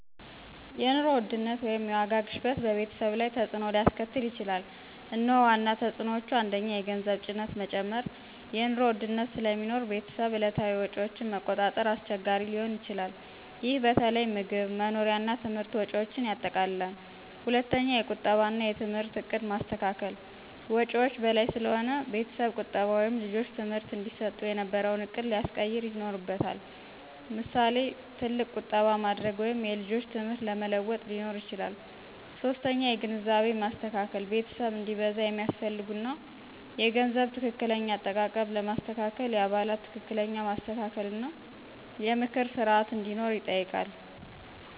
የኑሮ ውድነት (የዋጋ ግሽበት) በቤተሰብ ላይ በተፅዕኖ ሊያስከትል ይችላል፤ እነሆ ዋና ተፅዕኖዎቹ፦ 1. የገንዘብ ጭነት መጨመር – የኑሮ ውድነት ስለሚኖር ቤተሰብ የዕለታዊ ወጪዎችን ማቆጣጠር አስቸጋሪ ሊሆን ይችላል። ይህ በተለይ ምግብ፣ መኖሪያ እና ትምህርት ወጪዎችን ያጠቃልላል። 2. የቁጠባ እና የትምህርት ዕቅድ ማስተካከል – ወጪዎች በላይ ስለሆነ ቤተሰብ ቁጠባ ወይም ልጆች ትምህርት እንዲሰጡ የነበረውን ዕቅድ ሊያስቀየር ይኖርበታል። ምሳሌ፣ ትልቅ ቁጠባ ማድረግ ወይም የልጆች ትምህርት ለመለዋወጥ ሊኖር ይችላል። 3. የግንዛቤ ማስተካከል – ቤተሰብ እንዲበዛ የሚያስፈልጉ እና የገንዘብ ትክክለኛ አጠቃቀም ለማስተካከል የአባላት ትክክለኛ ማስተካከል እና የምክር ስርዓት እንዲኖር ይጠይቃል።